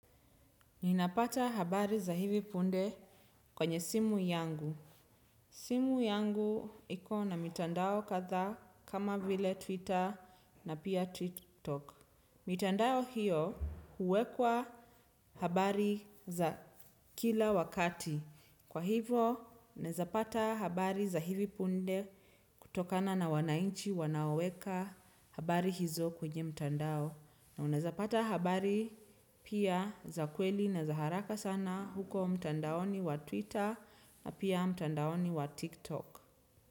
Ninapata habari za hivi punde kwenye simu yangu. Simu yangu ikona mitandao kadhaa kama vile Twitter na pia TikTok. Mitandao hiyo huwekwa habari za kila wakati. Kwa hivo, naeza pata habari za hivi punde kutokana na wananchi wanaoweka habari hizo kwenye mtandao. Na unaeza pata habari pia za kweli na za haraka sana huko mtandaoni wa Twitter na pia mtandaoni wa TikTok.